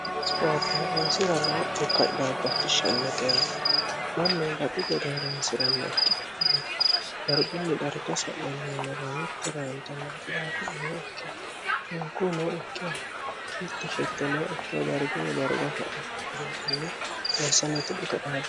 spoorte horonsira noo dhukka dhaabbachishshanno geani mannu baxi gede horonsi'ranna ikkitnni gargunni dharka sa'manniyamaraamitti raantanna daafuu nooikki minku nooikki mittishetto nooikki a gargunni darga sa'nokegugimne leessaleeti dhuka dhaabbo